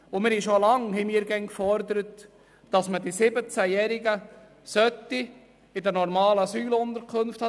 Wir fordern schon seit Langem, dass man die 17-Jährigen in den normalen Asylunterkünften unterbringt.